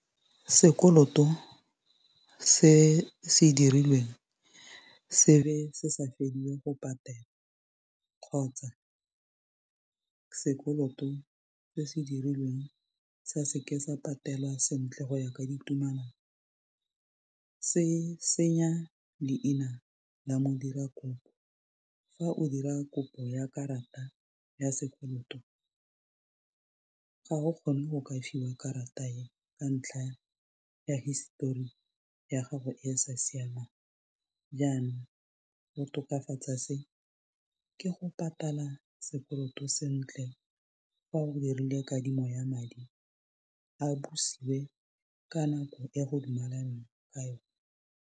Sekoloto se se dirilweng se be se sa felle go patelwa kgotsa sekoloto se se dirilweng sa seke sa patelwa sentle go ya ka ditumelano se senya leina la modirakopo fa o dira kopo ya karata ya sekoloto ga o kgone go ka fiwa karata e ka ntlha ya hisetori ya gago e sa siamang jaanang go tokafatsa se ke go patala sekoloto sentle fa o dirile kadimo ya madi a busiwe ka nako e go dumelanweng ka yone.